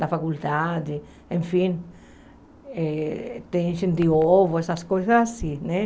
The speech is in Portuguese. da faculdade, enfim, eh tem gente de ovo, essas coisas assim, né?